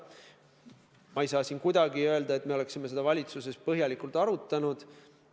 Praegu ma ei saa öelda, et me oleksime seda valitsuses põhjalikult arutanud.